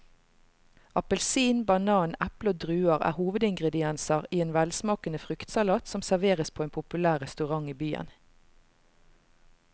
Appelsin, banan, eple og druer er hovedingredienser i en velsmakende fruktsalat som serveres på en populær restaurant i byen.